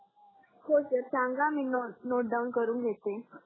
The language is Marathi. हो सर सांगा मी नोट डाउन करून घेते